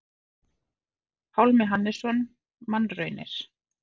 Pálmi Hannesson: Mannraunir.